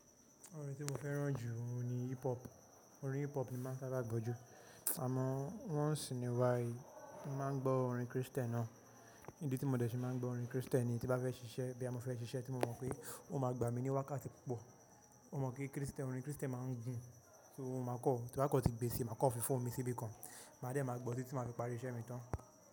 Orin tí mo fẹ́ràn jù ni hip hop. Orin hip hop ni máa ń sáábà gbọ́ jù. Àmọ́ once in a while, mo máa ń gbọ́ orin Kristẹ́ni náà. Ídí tí mo dẹ̀ ṣe máa ń gbọ́ orin Kristẹ́nì ni tí bá fẹ́ ṣiṣẹ́, bí a mọ fẹ́ ṣiṣẹ́ tí mo mọ̀ pé ó máa gbà mí ní wákàtí púpọ̀. Mo mọ̀ pé kristẹ́n, orin kristẹ́n máa ń gùn, ṣé mo máa kọ́, tí ba kò tíì gbé síi, màá kọ́ fi fóònù mi síbì kan. Màá dẹ̀ máa gbọ́ ó títí màá fi parí iṣẹ́ mi tán.